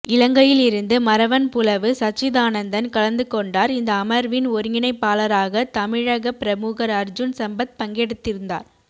இலங்கையில் இருந்து மறவன்புலவு சச்சிதானந்தன் கலந்துகொண்டார் இந்த அமர்வின் ஒருங்கிணைப்பாளராக தமிழக பிரமுகர் அர்ஜுன் சம்பத் பங்கெடுத்திருந்தார்